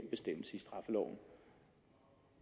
bestemmelse i straffeloven